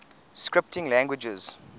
scripting languages